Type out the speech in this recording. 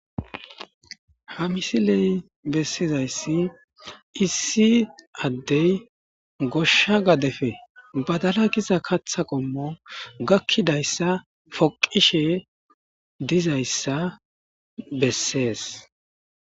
ha misiley bessizayssi issi addey goshsha gadefe badala giza katha qommo gakkidayssa poqishe dizayssa bessees.